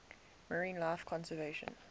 marine life conservation